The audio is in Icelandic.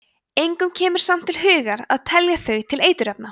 engum kemur samt til hugar að telja þau til eiturefna